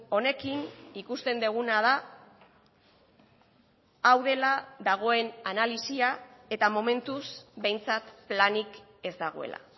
honekin ikusten duguna da hau dela dagoen analisia eta momentuz behintzat planik ez dagoela